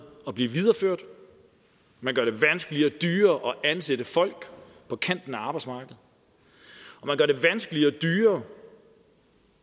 at blive videreført man gør det vanskeligere og dyrere at ansætte folk på kanten af arbejdsmarkedet man gør det vanskeligere og dyrere